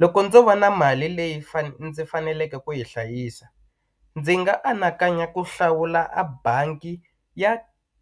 Loko ndzo va na mali leyi ndzi faneleke ku yi hlayisa ndzi nga anakanya ku hlawula a bangi ya